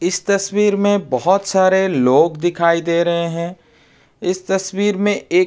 इस तस्वीर में बहोत सारे लोग दिखाई दे रहे है। इस तस्वीर में एक --